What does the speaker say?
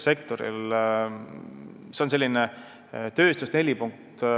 See on selline tööstus-4.